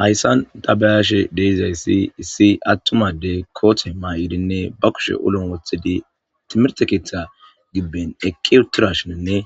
hayssan tabayaashe de'izayssi issi attumadey koothe may7idinne ba kushe ulomo wothedi timirtekeetha gibben eqqi uttirashininne